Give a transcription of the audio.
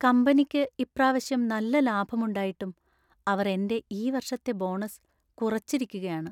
കമ്പനിക്ക് ഇപ്രാവശ്യം നല്ല ലാഭമുണ്ടായിട്ടും അവർ എൻ്റെ ഈ വർഷത്തെ ബോണസ് കുറച്ചിരിക്കുകയാണ്.